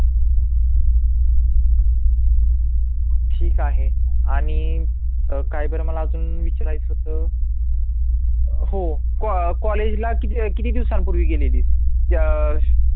ठीक आहे आणि काय बरं मला अजून विचारायचं होतं हो कॉ कॉलेजला किती किती दिवसांपूर्वी गेलेली अह